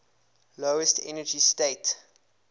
lowest energy state